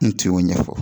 N tun y'o ɲɛfɔ